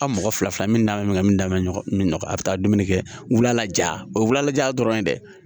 A mɔgɔ fila fila min da min da bɛ ɲɔgɔn kan min ka a bi taa dumuni kɛ wula la ja o ye wula la ja dɔrɔn ye dɛ